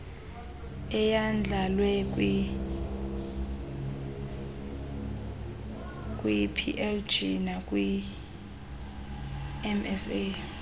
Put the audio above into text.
eyandlalwe kwiwplg nakwimsa